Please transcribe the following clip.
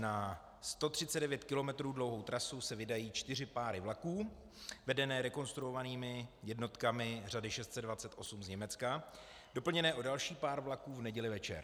Na 139 km dlouhou trasu se vydají čtyři páry vlaků vedené rekonstruovanými jednotkami řady 628 z Německa doplněné o další pár vlaků v neděli večer.